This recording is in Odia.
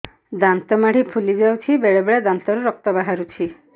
ଦାନ୍ତ ମାଢ଼ି ଫୁଲି ଯାଉଛି ବେଳେବେଳେ ଦାନ୍ତରୁ ରକ୍ତ ବାହାରୁଛି